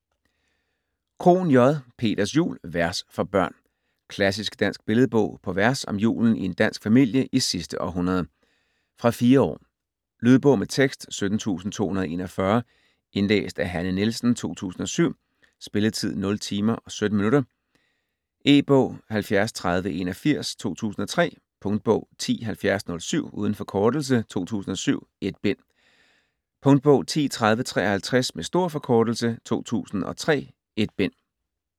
Krohn, J.: Peters jul: vers for børn Klassisk dansk billedbog på vers om julen i en dansk familie i sidste århundrede. Fra 4 år. Lydbog med tekst 17241 Indlæst af Hanne Nielsen, 2007. Spilletid: 0 timer, 17 minutter. E-bog 703081 2003. Punktbog 107007 - uden forkortelse 2007, 1 bind. Punktbog 103053 - med stor forkortelse 2003.1 bind.